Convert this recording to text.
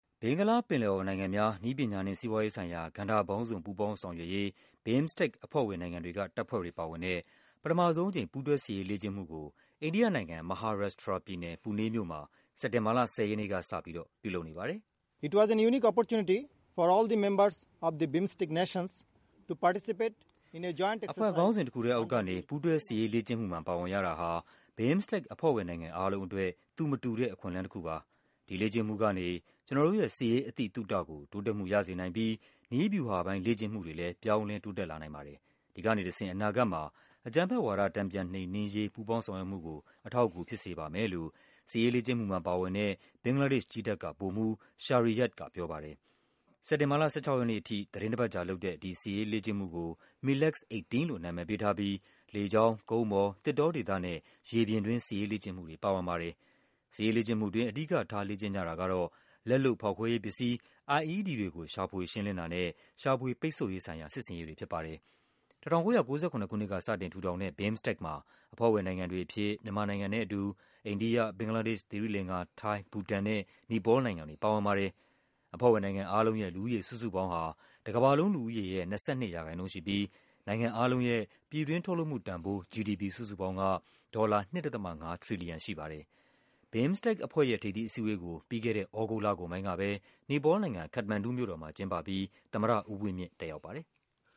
ဘင်္ဂလားပင်လယ်အော်နိုင်ငံများ နည်းပညာနှင့် စီးပွားရေးဆိုင်ရာ ကဏ္ဍပေါင်းစုံ ပူးပေါင်းဆောင်ရွက်ရေး BIMSTEC အဖွဲ့ဝင်နိုင်ငံ တွေက တပ်ဖွဲ့တွေပါဝင်တဲ့ ပထမဆုံးအကြိမ် ပူးတွဲစစ်ရေးလေ့ကျင့်မှုကို အိန္ဒိယနိုင်ငံ၊ မဟာရပ်ရှ်ထရာပြည်နယ်၊ Pune မြို့မှာ စက်တင်ဘာလ ၁၀ ရက်နေ့ကစပြီး ပြုလုပ်နေပါတယ်။ “အဖွဲ့ခေါင်းစဉ်တခုထဲအောက်ကနေ ပူးတွဲစစ်ရေးလေ့ကျင့်မှုမှာ ပါဝင်ရတာဟာ BIMSTEC အဖွဲ့ဝင်နိုင်ငံအားလုံးအတွက် သူမတူ တဲ့ အခွင့်အလန်းတခုပါ။ ဒီလေ့ကျင့်မှုကနေ ကျနော်တို့ရဲ့ စစ်ရေး အသိသုတကို တိုးတက်မှုရစေနိုင်ပြီး နည်းဗျူဟာပိုင်း လေ့ကျင့် မှုတွေလည်း ပြောင်းလဲတိုးတက်လာနိုင်ပါတယ်။ ဒီကနေတဆင့် အနာဂတ်မှာ အကြမ်းဖက်ဝါဒ တန်ပြန်နှိမ်နင်းရေး ပူးပေါင်း ဆောင်ရွက်မှုကို အထောက်အကူဖြစ်စေပါမယ်။” လို့ စစ်ရေးလေ့ကျင့်မှုမှာပါဝင်တဲ့ ဘင်္ဂလားဒေ့ရှ်ကြည်းတပ်က ဗိုလ်မှူး Shariyad ကပြောပါတယ်။ စက်တင်ဘာလ ၁၆ ရက်နေ့အထိ သီတင်းတပတ်ကြာလုပ်တဲ့ ဒီစစ်ရေးလေ့ကျင့်မှုudk MILEX-18 လို့ နာမည်ပေးထားပြီး လေကြောင်း၊ ကုန်းပေါ်၊ သစ်တောဒေသနဲ့ ရေပြင် စစ်ရေးလေ့ကျင့်မှုတွေ ပါဝင်ပါတယ်။ စစ်ရေးလေ့ကျင့်မှုှအတွင်း အဓိကထားလေ့ကျင့်ကြတာကတော့ လက်လုပ်ဖောက်ခွဲရေးပစ္စည်း IED တွေကို ရှာဖွေရှင်းလင်းတာ နဲ့ ရှာဖွေ ပိတ်ဆို့ရေးဆိုင်ရာ စစ်ဆင်ရေးတွေဖြစ်ပါတယ်။ ၁၉၉၇ ခုနှစ်က စတင်ထူထောင်တဲ့ BIMSTEC မှာ အဖွဲ့ဝင်နိုင်ငံတွေအဖြစ် မြန်မာနိုင်ငံနဲ့အတူ အိန္ဒိယ၊ ဘင်္ဂလားဒေ့ရှ်၊ သီရိလင်္ကာ၊ ထိုင်း၊ ဘူတန်နဲ့ နီပေါလ်နိုင်ငံတွေ ပါဝင်ပါတယ်။ အဖွဲ့ဝင်နိုင်ငံအားလုံးရဲ့ လူဦးရေစုစုပေါင်းဟာ တကမ္ဘာလုံးလူူဦးရေရဲ့ ၂၂% ရှိပြီး နိုင်ငံအားလုံးရဲ့ ပြည်တွင်းထုတ်လုပ်မှုတန်ဖိုး GDP စုစုပေါင်းဟာ ဒေါ်လာ ၂.၅ ထရီလီယံရှိပါတယ်။ BIMSTEC အဖွဲ့ရဲ့ ထိပ်သီးအစည်းအဝေးကို ပြီးခဲ့တဲ့ သြဂုတ်လကုန်ပိုင်းကပဲ နီပေါလ်နိုင်ငံ၊ ခတ္တမန်ဒူမြို့တော်မှာ ကျင်းပပြီး သမ္မတဦးဝင်းမြင့် တက်ရောက်ပါတယ်။